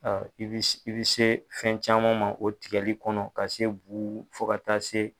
Ɔ i bɛ i bɛ se fɛn caman ma o tigɛli kɔnɔ ka se bu fo kata se.